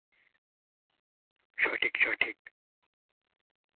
সঠিক, সঠিক.